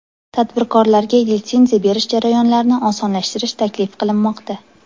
Tadbirkorlarga litsenziya berish jarayonlarini osonlashtirish taklif qilinmoqda.